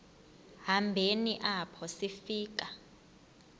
hambeni apho sifika